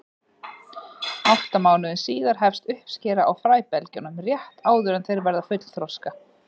Átta mánuðum síðar hefst uppskera á fræbelgjunum, rétt áður en þeir verða fullþroska.